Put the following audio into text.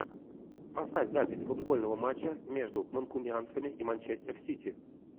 поставь запись футбольного матча между манкунианцами и манчестер сити